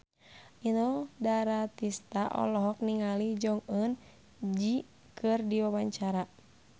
Inul Daratista olohok ningali Jong Eun Ji keur diwawancara